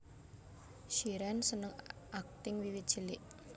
Shireen seneng akting wiwit cilik